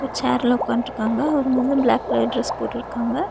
சேர்ல உக்காந்ட்ருக்காங்க அவர் வந்து பிளாக் கலர் டிரஸ் போட்டுருக்காங்க.